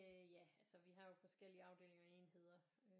Øh ja altså vi har jo forskellige afdelinger og enheder